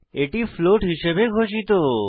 এটি ফ্লোট হিসাবে ঘোষিত